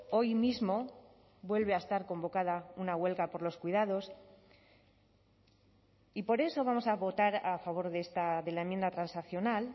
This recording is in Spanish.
hoy mismo vuelve a estar convocada una huelga por los cuidados y por eso vamos a votar a favor de la enmienda transaccional